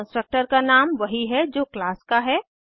constructor का नाम वही है जो क्लास का है